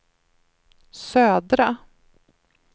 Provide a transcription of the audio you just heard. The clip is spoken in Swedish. södra